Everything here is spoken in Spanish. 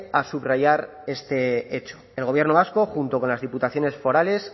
a subrayar este hecho el gobierno vasco junto con las diputaciones forales